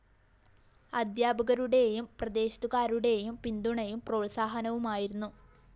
അധ്യാപകരുടെയും പ്രദേശത്തുകാരുടെയും പിന്തുണയും പ്രോത്സാഹനവുമായിരുന്നു